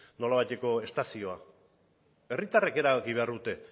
nolabaiteko estazioa herritarrek erabaki behar dute